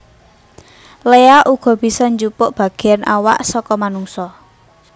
Léak uga bisa njupuk bagéyan awak saka manungsa